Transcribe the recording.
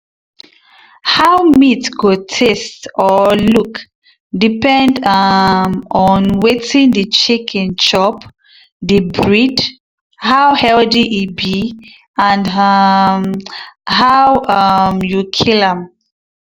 how meat go taste or look depend um on wetin the chicken chop the breed how healthy e be and um how um you kill am.